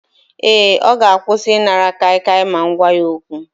Ee, ọ ga-akwụsị ịnara kaikai ma m gwa ya okwu